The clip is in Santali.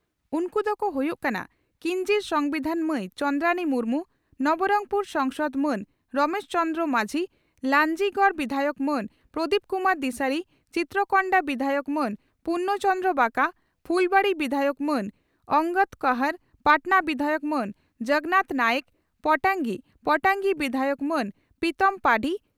ᱩᱱᱠᱩ ᱫᱚᱠᱚ ᱦᱩᱭᱩᱜ ᱠᱟᱱᱟ, ᱠᱤᱧᱡᱷᱤᱨ ᱥᱚᱝᱵᱤᱫᱷᱟᱱ ᱢᱟᱹᱭ ᱪᱚᱱᱫᱽᱨᱟᱬᱤ ᱢᱩᱨᱢᱩ, ᱱᱚᱵᱚᱨᱚᱝᱯᱩᱨ ᱥᱚᱝᱥᱚᱫᱽ ᱢᱟᱹᱱ ᱨᱚᱢᱮᱥ ᱪᱚᱱᱫᱽᱨᱚ ᱢᱟᱡᱷᱤ, ᱞᱟᱱᱡᱤᱜᱚᱰ ᱵᱤᱫᱷᱟᱭᱚᱠ ᱢᱟᱹᱱ ᱯᱨᱚᱫᱤᱯ ᱠᱩᱢᱟᱨ ᱫᱤᱥᱟᱨᱤ, ᱪᱤᱛᱨᱚᱠᱚᱱᱰᱟ ᱵᱤᱫᱷᱟᱭᱚᱠ ᱢᱟᱹᱱ ᱯᱩᱨᱱᱚ ᱪᱚᱱᱫᱨᱚ ᱵᱟᱠᱟ, ᱯᱷᱩᱞᱵᱟᱬᱤ ᱵᱤᱫᱷᱟᱭᱚᱠ ᱢᱟᱹᱱ ᱚᱱᱜᱚᱫᱽ ᱠᱚᱦᱚᱸᱨ, ᱯᱟᱴᱱᱟ ᱵᱤᱫᱷᱟᱭᱚᱠ ᱢᱟᱹᱱ ᱡᱚᱜᱚᱱᱟᱛᱷ ᱱᱟᱭᱮᱠ, ᱯᱚᱴᱟᱝᱜᱤ ᱯᱚᱴᱟᱝᱜᱤ ᱵᱤᱫᱷᱟᱭᱚᱠ ᱢᱟᱹᱱ ᱯᱤᱛᱚᱢ ᱯᱟᱹᱰᱷᱤ